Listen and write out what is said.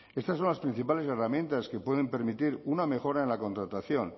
estas son las principales herramientas que pueden permitir una mejora en la contratación